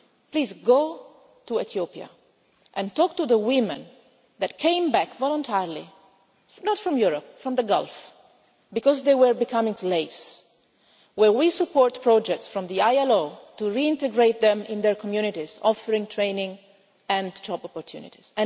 Please go to Ethiopia and talk to the women that came back voluntarily, not from Europe but from the Gulf because they were becoming slaves, while we support projects from the ILO to reintegrate them into their communities, offering training and job opportunities.